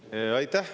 Aitäh!